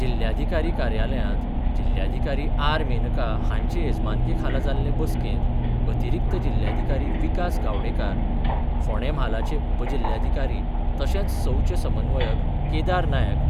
जिल्ल्याधिकारी कार्यालयांत जिल्ल्याधिकारी आर मेनका हांचे येजमानके खाला जाल्ले बसकेंत अतिरिक्त जिल्ल्याधिकारी विकास गावडेकार फोंडें म्हालाचे उपजिल्ल्याधिकारी तशेंच सौचे समन्वयक केदार नायक